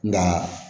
Nka